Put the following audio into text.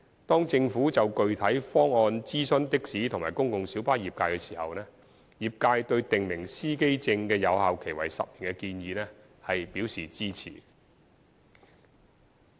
當政府就具體方案諮詢的士及公共小巴業界時，業界對訂明司機證有效期為10年的建議表示支持。